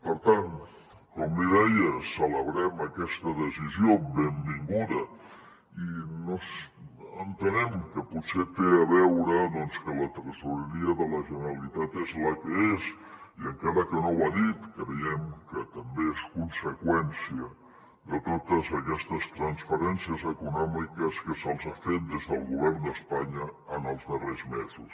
per tant com li deia celebrem aquesta decisió benvinguda i entenem que potser té a veure doncs que la tresoreria de la generalitat és la que és i encara que no ho ha dit creiem que també és conseqüència de totes aquestes transferències econòmiques que se’ls ha fet des del govern d’espanya en els darrers mesos